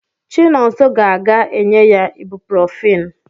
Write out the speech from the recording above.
Chinonso ga-aga enye ya iburuprofeni